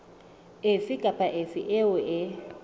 efe kapa efe eo e